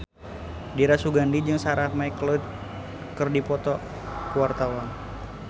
Dira Sugandi jeung Sarah McLeod keur dipoto ku wartawan